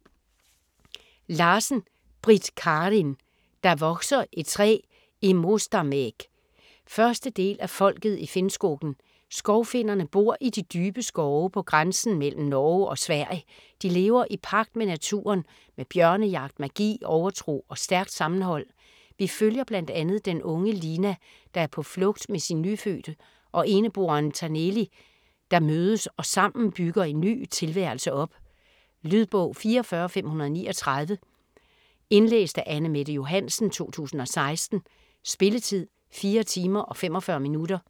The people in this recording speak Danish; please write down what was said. Larsen, Britt Karin: Der vokser et træ i Mostamägg 1. del af Folket i Finnskogen. Skovfinnerne bor i de dybe skove på grænsen mellem Norge og Sverige, de lever i pagt med naturen med bjørnejagt, magi, overtro og stærkt sammenhold. Vi følger bl.a. den unge Lina, der er på flugt med sin nyfødte og eneboeren Taneli, der mødes og sammen bygger en ny tilværelse op. Lydbog 44539 Indlæst af Anne-Mette Johansen, 2016. Spilletid: 4 timer, 45 minutter.